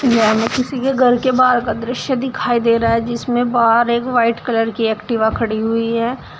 यहां हमें किसी के घर के बाहर का दृश्य दिखाई दे रहा है जिसमे बाहर एक व्हाइट कलर की एक्टिवा खड़ी हुई है।